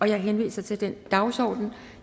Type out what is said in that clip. jeg henviser til den dagsorden